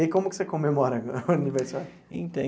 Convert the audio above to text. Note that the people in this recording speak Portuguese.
E aí, como que você comemora o aniversário?